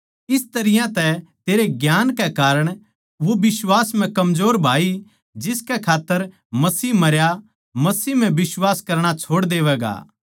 इस तरियां तै तेरे ज्ञान कै कारण वो बिश्वास म्ह कमजोर भाई जिसकै खात्तर मसीह मरया मसीह म्ह बिश्वास करणा छोड़ देवैगा